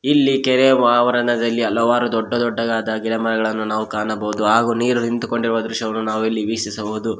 ಇಲ್ಲಿ ಕೆರೆಯ ವಾವರಣದಲ್ಲಿ ಹಲವಾರು ದೊಡ್ಡ ದೊಡ್ಡದಾದ ಗಿಡಮರಗಳನ್ನು ನಾವು ಕಾಣಬಹುದು ಹಾಗೂ ನೀರು ನಿಂತುಕೊಂಡಿರುವ ದೃಶ್ಯವನ್ನು ನಾವು ಇಲ್ಲಿ ವೀಕ್ಷಿಸಬಹುದು.